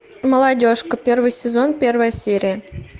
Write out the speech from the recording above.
молодежка первый сезон первая серия